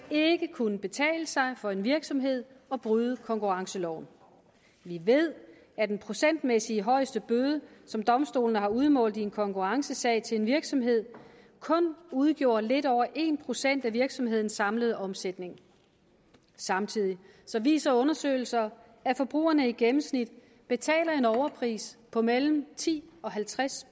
kunne betale sig for en virksomhed at bryde konkurrenceloven vi ved at den procentmæssigt højeste bøde som domstolene har udmålt i en kommende konkurrencesag til en virksomhed kun udgjorde lidt over en procent af virksomhedens samlede omsætning samtidig viser undersøgelser at forbrugerne i gennemsnit betaler en overpris på mellem ti og halvtreds